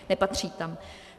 Nepatří tam.